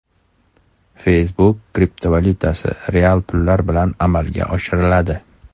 Facebook kriptovalyutasi real pullar bilan amalga oshiriladi.